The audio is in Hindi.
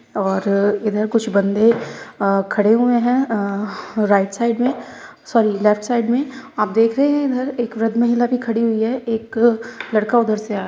और इधर कुछ बन्दे अ खड़े हुए हैं अह राईट साइड में सॉरी लेफ्ट साइड में आप देख रहे हैं इधर एक वृद्ध महिला भी खड़ी हुई हैं एक लड़का उधर से आ --